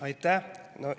Aitäh!